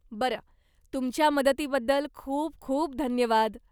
बरं, तुमच्या मदतीबद्दल खूप खूप धन्यवाद.